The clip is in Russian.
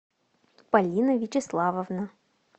полина вячеславовна